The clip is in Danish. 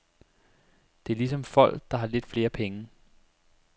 Det er ligesom folk, der har lidt flere penge.